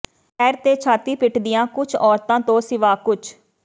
ਪੈਰ ਤੇ ਛਾਤੀ ਪਿਟਦੀਆਂ ਕੁਛ ਔਰਤਾਂ ਤੋਂ ਸਿਵਾ ਕੁਛ